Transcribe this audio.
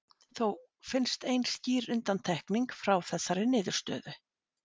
Þó finnst ein skýr undantekning frá þessari niðurstöðu.